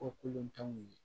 O kolontananw ye